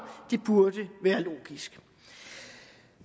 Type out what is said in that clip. det burde være logisk